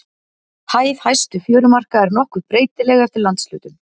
Hæð hæstu fjörumarka er nokkuð breytileg eftir landshlutum.